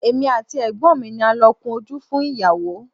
Èmi àti Ẹ̀gbọ́n mi ni a lọ kun ojú fún ìyàwó.